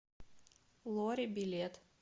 лори билет